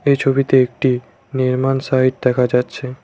এই ছবিতে একটি নির্মাণ সাইড দেখা যাচ্ছে।